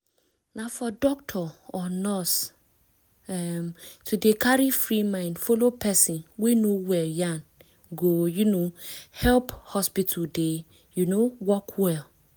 na for doctor or nurse um to dey carry free mind follow person wey no well yan go um help hospital dey um work well